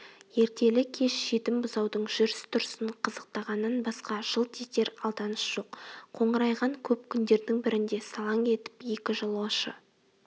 ертелі-кеш жетім бұзаудың жүріс-тұрысын қызықтағаннан басқа жылт етер алданыш жоқ қоңырайған көп күндердің бірінде салаң етіп екі жолаушы